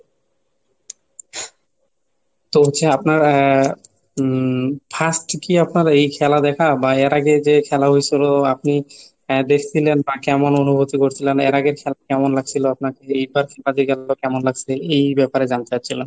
তো হচ্ছে আপনারা আহ উম first কি আপনারা এই খেলা দেখা বা এর আগে যে খেলা হয়েছিল আপনি দেখছিলেন বা কেমন অনুভূতি করছিলেন? এর আগের কেমন লাগছিল আপনাকে? এইবার কেমন লাগছে? এই ব্যাপারে জানতে চাচ্ছিলাম।